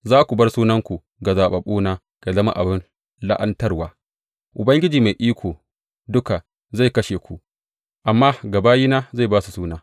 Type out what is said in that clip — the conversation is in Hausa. Za ku bar sunanku ga zaɓaɓɓuna yă zama abin la’antarwa; Ubangiji Mai Iko Duka zai kashe ku, amma ga bayina zai ba su wani suna.